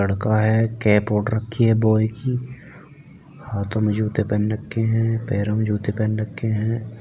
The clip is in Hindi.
लड़का हैं कैप ओड रखी ए बॉय की। हाथो में जूते पेन रखे ए है। पेरो में जूते पेन रखे है।